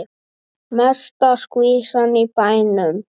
Mesta skvísan í bænum.